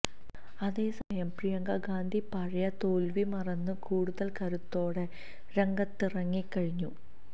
അതേസമയം പ്രിയങ്ക ഗാന്ധി പഴയ തോല്വി മറന്ന് കൂടുതല് കരുത്തോടെ രംഗത്തിറങ്ങിക്കഴിഞ്ഞു